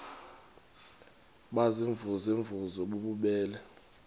baziimvuze mvuze bububele